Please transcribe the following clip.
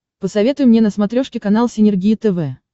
посоветуй мне на смотрешке канал синергия тв